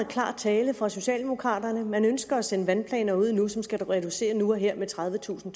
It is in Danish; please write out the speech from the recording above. klar tale fra socialdemokraterne her man ønsker at sende vandplaner ud nu som skal reducere nu og her med tredivetusind